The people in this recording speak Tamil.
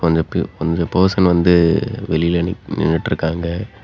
கொஞ்ச பர்சன் வந்து வெளில நின்னுட்ருக்காங்க.